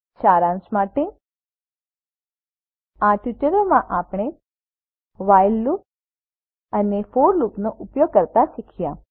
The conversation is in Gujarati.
સારાંશ માટે આ ટ્યુટોરીયલમાં આપણે વ્હાઇલ લૂપ અને ફોર લૂપનો ઉપયોગ કરતા શીખ્યા